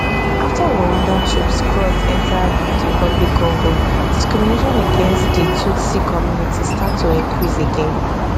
afta rwanda troops cross enta dr congo discrimination against di tutsi community start to increase again